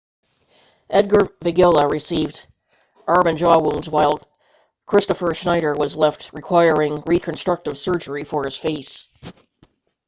edgar veguilla received arm and jaw wounds while kristoffer schneider was left requiring reconstructive surgery for his face